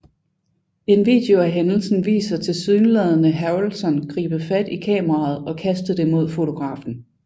En video af hændelsen viser tilsyneladende Harrelson gribe fat i kameraet og kaste det mod fotografen